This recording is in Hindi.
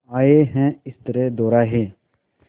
आए हैं इस तरह दोराहे